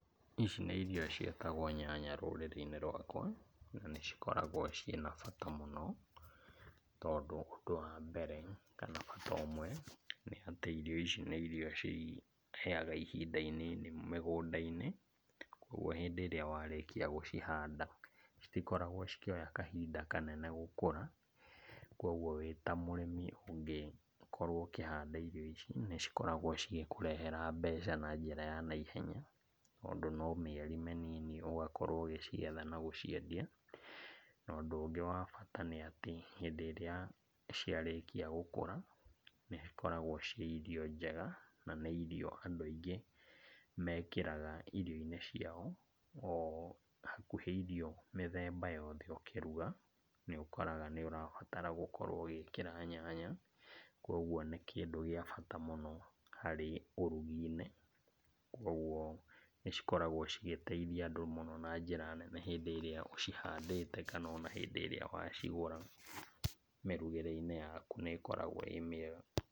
Ici nĩ irio ciĩtagwo nyanya rũrĩrĩ-inĩ rwakwa na nĩcikoragwo na bata mũno tondũ ũndũ wambere kana bata ũmwe, nĩ atĩ irio ici nĩ irio ciheaga ihinda inini mĩgũnda-inĩ, ũguo hĩndĩ ĩrĩa warĩkia gũcihanda, citikoragwo cikĩoya kahinda kanene gũkũra, koguo wĩ ta mũrĩmi ũngĩkorwo ũkĩhanda irio ici, nĩ cikoragwo cigĩkũrehera mbeca na njĩra ya naihenya tondũ no mĩeri mĩnini ũgakorwo ũgĩcigetha na gũciendia. Na ũndũ ũngĩ wa bata nĩ atĩ hĩndĩ ĩrĩa ciarĩkia gũkũra, nĩ cikoragwo ciĩ irio njega na nĩ irio andũ aingĩ mekĩraga irio-inĩ ciao, o hakuhĩ irio mĩthemba yothe ũkĩruga, nĩ ũkoraga nĩ ũrabatara gũkorwo ũgĩkĩra nyanya, koguo nĩ kĩndũ gĩa bata mũno harĩ ũrugĩ-inĩ. Koguo nĩ cikoragwo cigĩteithia andũ mũno na njĩra nene hĩndĩ ĩrĩa ũciandĩte kana ona hĩndĩ ĩrĩa wacigũra, mĩrugĩre-inĩ yaku nĩ ĩkoragwo ĩ mĩega.